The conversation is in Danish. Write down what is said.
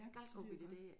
Ja det ved jeg godt